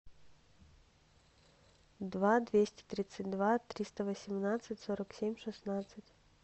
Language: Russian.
два двести тридцать два триста восемнадцать сорок семь шестнадцать